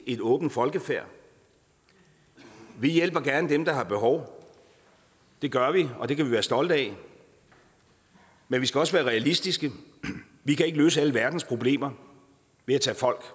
et åbent folkefærd vi hjælper gerne dem der har behov det gør vi og det kan vi være stolte af men vi skal også være realistiske vi kan ikke løse alle verdens problemer ved at tage folk